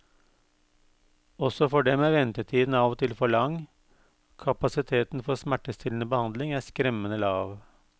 Også for dem er ventetiden av og til for lang, kapasiteten for smertestillende behandling er skremmende lav.